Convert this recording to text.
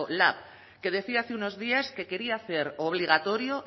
lab que decía hace unos días que quería hacer obligatorio